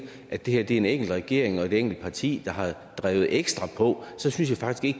at det her er en enkelt regering og et enkelt parti der har drevet ekstra på så synes jeg faktisk